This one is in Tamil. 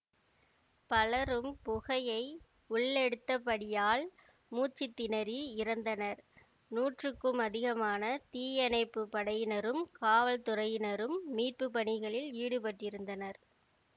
பலரும் புகையை உள்ளெடுத்த படியால் மூச்சு திணறி இறந்தனர் நூற்றுக்கும் அதிகமான தீயணைப்பு படையினரும் காவல்துறையினரும் மீட்பு பணிகளில் ஈடுபட்டிருந்தனர்